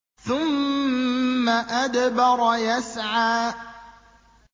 ثُمَّ أَدْبَرَ يَسْعَىٰ